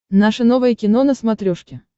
наше новое кино на смотрешке